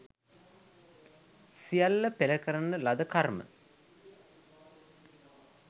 සියල්ල පෙර කරන ලද කර්ම